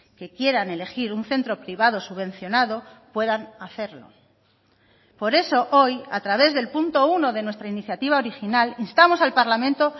que quieran elegir un centro privado subvencionado puedan hacerlo por eso hoy a través del punto uno de nuestra iniciativa original instamos al parlamento